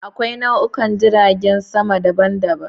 Akwai nau'ikan jiragen sama daban-daban.